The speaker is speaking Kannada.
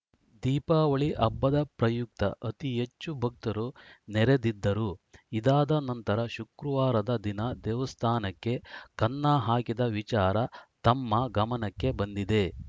ದೀಪಾವಳಿ ಹಬ್ಬದ ಪ್ರಯುಕ್ತ ಅತಿಹೆಚ್ಚು ಭಕ್ತರು ನೆರೆದಿದ್ದರು ಇದಾದ ನಂತರ ಶುಕ್ರವಾರದ ದಿನ ದೇವಸ್ಥಾನಕ್ಕೆ ಕನ್ನ ಹಾಕಿದ ವಿಚಾರ ತಮ್ಮ ಗಮನಕ್ಕೆ ಬಂದಿದೆ